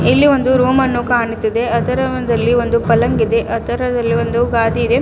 ಇಲ್ಲಿ ಒಂದು ರೂಮನ್ನು ಕಾಣುತಿದೆ ಅದರ ಒಂದಲ್ಲಿ ಒಂದು ಫಲಂಗ ಇದೆ ಅದರ ರೇಲೆ ಒಂದು ಗಾದಿ ಇದೆ.